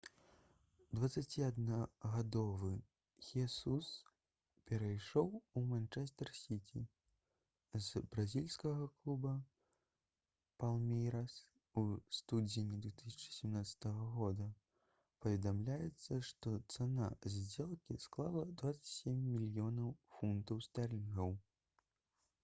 21-гадовы хесус перайшоў у «манчэстэр сіці» з бразільскага клуба «палмейрас» у студзені 2017 г. паведамляецца што цана здзелкі склала 27 мільёнаў фунтаў стэрлінгаў